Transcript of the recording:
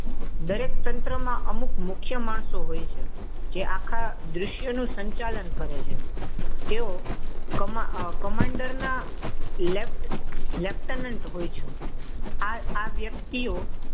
દરેક તંત્રમાં અમુક મુખ્ય માણસો હોય છે. જે આખા દ્રશ્ય નું સંચાલન કરે છે. તેઓ કમાન્ડર ના લેફ્ટનન્ટ હોય છે. આ વ્યક્તિઓ,